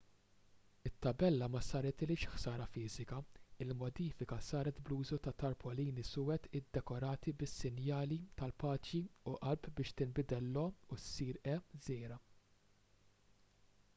it-tabella ma saritilhiex ħsara fiżika; il-modifika saret bl-użu ta' tarpolini suwed iddekorati bis-sinjali tal-paċi u qalb biex tinbidel l-"o u issir e żgħira